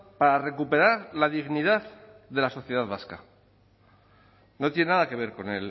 para recuperar la dignidad de la sociedad vasca no tiene nada que ver con